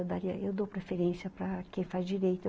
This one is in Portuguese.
Eu daria, eu dou preferência para quem faz direito.